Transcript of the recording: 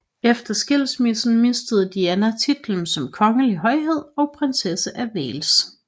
Efter skilsmissen mistede Diana titlen som kongelig højhed og prinsesse af Wales